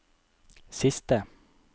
siste